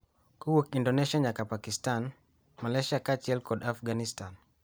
kowuok e Indonesia nyaka Pakistan, Malaysia kaachiel kod Afganistan –